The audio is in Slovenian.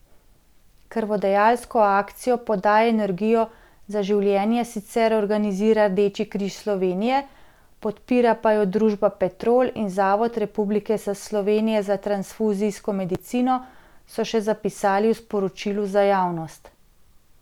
Krvodajalsko akcijo Podaj energijo za življenje sicer organizira Rdeči križ Slovenije, podpira pa jo družba Petrol in Zavod Republike Slovenije za transfuzijsko medicino, so še zapisali v sporočilu za javnost.